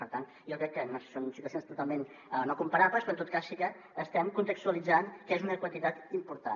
per tant jo crec que són situacions totalment no comparables però en tot cas sí que estem contextualitzant que és una quantitat important